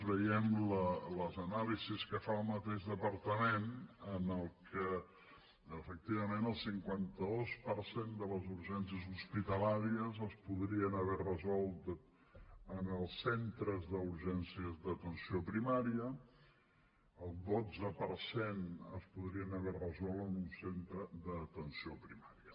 veient les anàlisis que fa el mateix departament en les que efectivament el cinquanta dos per cent de les urgències hospitalàries es podrien haver resolt en els centres d’urgències d’atenció primària el dotze per cent es podrien haver resolt en un centre d’atenció primària